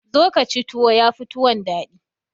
zo ka ci tuwo ya Fi tuwon daɗi